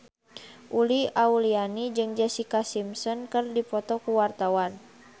Uli Auliani jeung Jessica Simpson keur dipoto ku wartawan